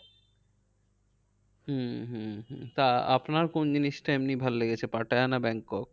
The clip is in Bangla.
হম হম হম তা আপনার কোন জিনিসটা এমনি ভালো লেগেছে পাটায়া না ব্যাংকক?